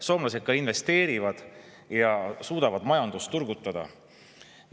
Soomlased ka investeerivad ja suudavad majandust turgutada.